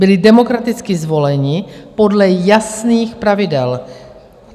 Byli demokraticky zvoleni podle jasných pravidel.